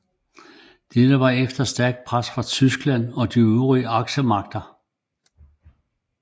Dette var efter stærkt pres fra Tyskland og de andre aksemagter